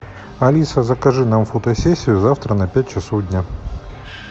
алиса закажи нам фотосессию завтра на пять часов дня